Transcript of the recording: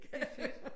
Det er fedt